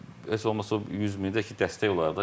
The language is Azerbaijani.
Hə, heç olmasa o 100 mini də ki, dəstək olardı.